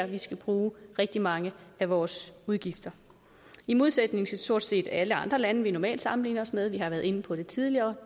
vi skal bruge rigtig mange af vores udgifter i modsætning til stort set alle andre lande vi normalt sammenligner os med vi har været inde på det tidligere